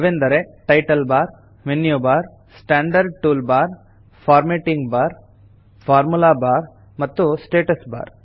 ಅವೆಂದರೆ title bar menu bar standard toolbar formatting bar formula bar ಮತ್ತು status bar